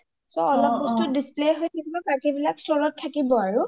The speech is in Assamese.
so অলপ বস্তু display থাকিব বাকি বিলাক store ত থাকিব আৰু